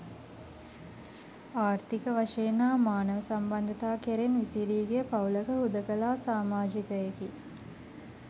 ආර්ථික වශයෙන් හා මානව සම්බන්ධතා කෙරෙන් විසිරී ගිය පවුලක හුදෙකලා සාමාජිකයෙකි.